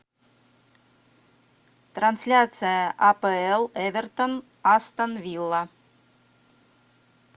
трансляция апл эвертон астон вилла